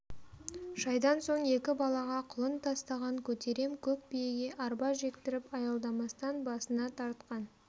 шайдан соң екі балаға құлын тастаған көтерем көк биеге арба жектіріп аялдамастан басына тартқан